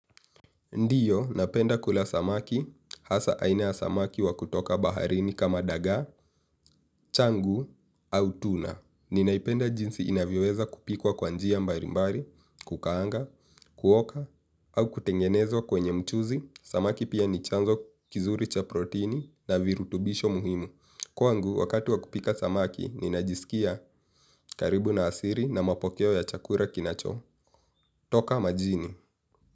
Ndiyo, napenda kula samaki, hasa aina ya samaki wakutoka baharini kama dagaa, changu, au tuna. Ninaipenda jinsi inavyoweza kupikwa kwa njia mbari mbari kukanga kuokwa au kutengeneza kwenye mchuzi. Samaki pia ni chanzo kizuri cha proteini na virutubisho muhimu. Kwangu, wakatu wakupika samaki, ninajisikia karibu na asiri na mapokeo ya chakura kinacho. Toka majini.